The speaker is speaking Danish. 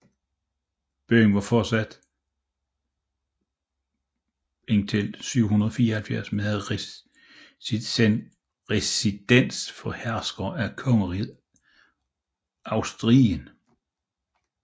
Byen var fortsatte indtil 774 med at være residens for herskerne af Kongeriget Asturien